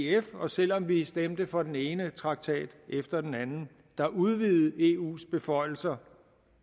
ef og selv om vi stemte for den ene traktat efter den anden der udvidede eus beføjelser